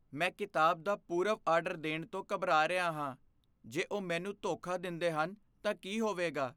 ਮੈਂ ਕਿਤਾਬ ਦਾ ਪੂਰਵ ਆਰਡਰ ਦੇਣ ਤੋਂ ਘਬਰਾ ਰਿਹਾ ਹਾਂ ਜੇ ਉਹ ਮੈਨੂੰ ਧੋਖਾ ਦਿੰਦੇ ਹਨ ਤਾਂ ਕੀ ਹੋਵੇਗਾ?